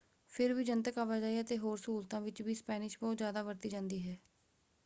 ਫਿਰ ਵੀ ਜਨਤਕ ਆਵਾਜਾਈ ਅਤੇ ਹੋਰ ਸਹੂਲਤਾਂ ਵਿੱਚ ਵੀ ਸਪੈਨਿਸ਼ ਬਹੁਤ ਜ਼ਿਆਦਾ ਵਰਤੀ ਜਾਂਦੀ ਹੈ।